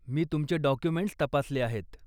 मी तुमचे डाॅक्युमेंट्स तपासले आहेत.